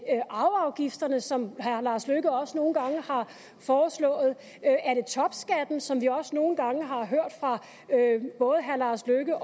arveafgifterne som herre lars løkke rasmussen også nogle gange har foreslået er det topskatten som vi også nogle gange har hørt fra både herre lars løkke